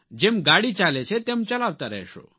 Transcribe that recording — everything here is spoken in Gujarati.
જેમ ગાડી ચાલે છે તેમ ચલાવતા રહેશો